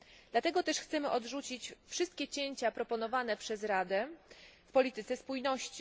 Dlatego też chcemy odrzucić wszystkie cięcia proponowane przez Radę w polityce spójności.